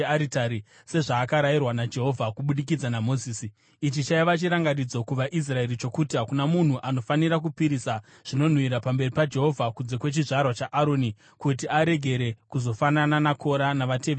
sezvaakarayirwa naJehovha kubudikidza naMozisi. Ichi chaiva chirangaridzo kuvaIsraeri chokuti hakuna munhu anofanira kupisira zvinonhuhwira pamberi paJehovha kunze kwechizvarwa chaAroni kuti aregere kuzofanana naKora navateveri vake.